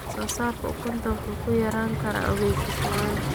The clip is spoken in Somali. Wax-soo-saarka ukunta wuxuu yarayn karaa ogeysiis la'aan.